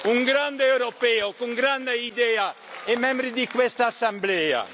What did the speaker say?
sì! Un grande europeo con una grande idea e membro di questa Assemblea.